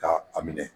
Ka a minɛ